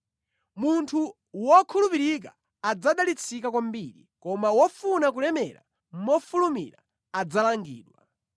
Munthu wokhulupirika adzadalitsika kwambiri, koma wofuna kulemera mofulumira adzalangidwa.